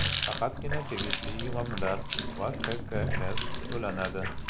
Faqatgina tegishli yig‘imlar va QQS to‘lanadi.